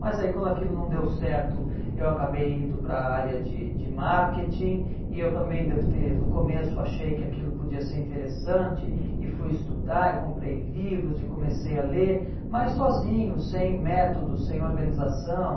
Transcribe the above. Mas aí quando aquilo não deu certo, eu acabei indo para a área de de marketing e eu também devo ter no começo achei que aquilo podia ser interessante e fui estudar e comprei livros e comecei a ler, mas sozinho, sem método, sem organização.